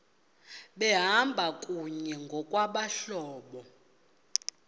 behamba kunye ngokwabahlobo